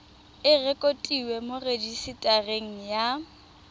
e rekotiwe mo rejisetareng ya